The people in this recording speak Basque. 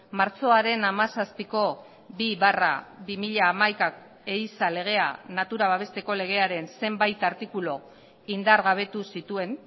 martxoaren hamazazpiko bi barra bi mila hamaika ehiza legea natura babesteko legearen zenbait artikulu indargabetu zituen